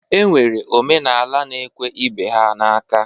E nwere omenala na-ekwe ibe ha n'aka.